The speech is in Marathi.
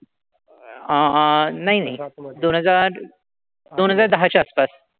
अह नाही नाही. दोन हजार दोन हजार दहाच्या आसपास.